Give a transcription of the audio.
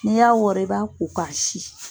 N'i y'a wɔrɔ i b'a ko ka sin.